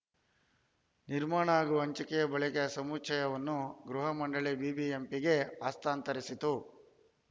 ನಿರ್ಮಾಣ ಹಾಗೂ ಹಂಚಿಕೆ ಬಳಿಕ ಸಮುಚ್ಛಯವನ್ನು ಗೃಹ ಮಂಡಳಿ ಬಿಬಿಎಂಪಿಗೆ ಹಸ್ತಾಂತರಿಸಿತ್ತು